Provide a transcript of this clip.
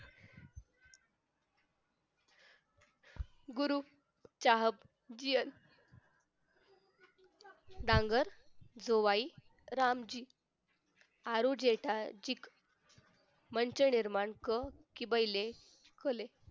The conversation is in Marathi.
गुरु चाहक जी डांगर जोवाई रामजी आरू जेठाजीक मंत्र निर्माण कर कि पहिले